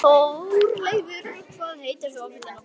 Þórleifur, hvað heitir þú fullu nafni?